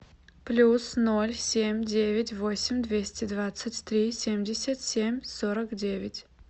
плюс ноль семь девять восемь двести двадцать три семьдесят семь сорок девять